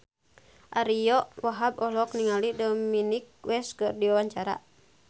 Ariyo Wahab olohok ningali Dominic West keur diwawancara